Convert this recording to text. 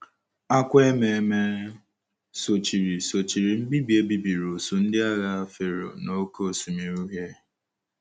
Akwa ememe sochiri sochiri mbibi e bibiri usuu ndị agha Fero n’Oké Osimiri Uhie.